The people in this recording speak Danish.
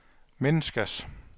menneskers